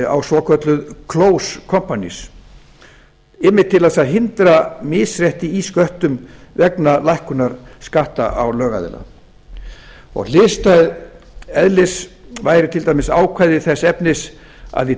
á svokölluð close companies einmitt til þess að hindra misrétti í sköttum vegna lækkunar skatta á lögaðila hliðstæðs eðlis væri til dæmis ákvæði þess efnis að í